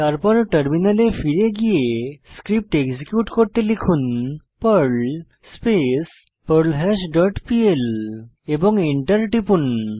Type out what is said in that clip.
তারপর টার্মিনালে ফিরে গিয়ে স্ক্রিপ্ট এক্সিকিউট করতে লিখুন পার্ল স্পেস পার্লহাশ ডট plএবং Enter টিপুন